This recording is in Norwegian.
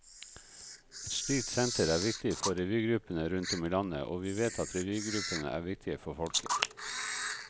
Et slikt senter er viktig for revygruppene rundt om i landet, og vi vet at revygruppene er viktige for folket.